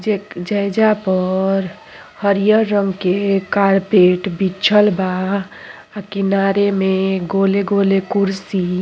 जेक जैजा पर हरियर रंग के कारपेट बिछल बा। आ किनारे में गोले गोले कुर्सी --